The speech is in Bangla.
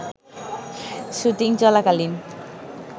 শুটিং চলাকালীন